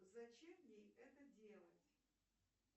зачем ей это делать